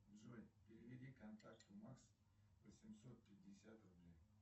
джой переведи контакту макс восемьсот пятьдесят рублей